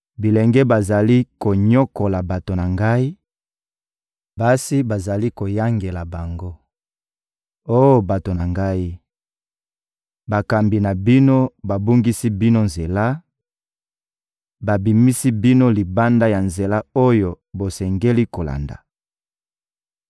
Bilenge bazali konyokola bato na Ngai, basi bazali koyangela bango. Oh bato na Ngai, bakambi na bino babungisi bino nzela, babimisi bino libanda ya nzela oyo bosengeli kolanda!